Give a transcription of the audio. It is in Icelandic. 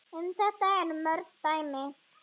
Um þetta eru mörg dæmi.